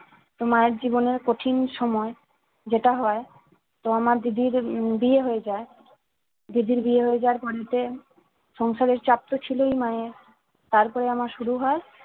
তো মায়ের জীবনের কঠিন সময় যেটা হয় তো আমার দিদির উম বিয়ে হয়ে যায় দিদির বিয়ে হয়ে যাওয়ার পরেতে সংসারের চাপ তো ছিলই মায়ের তারপরে আমার শুরু হয়